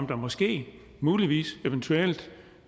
der måske muligvis eventuelt